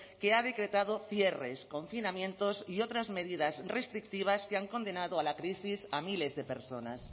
que ha decretado cierres confinamientos y otras medidas restrictivas que han condenado a la crisis a miles de personas